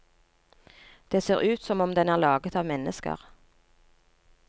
Det ser ut som om den er laget av mennesker.